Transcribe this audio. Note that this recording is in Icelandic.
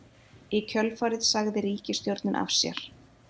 Í kjölfarið sagði ríkisstjórnin af sér